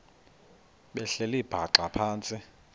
behleli bhaxa phantsi